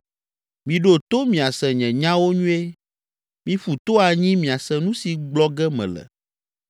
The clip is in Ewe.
Miɖo to miase nye nyawo nyuie, miƒu to anyi miase nu si gblɔ ge mele.